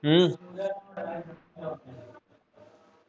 ਹਮ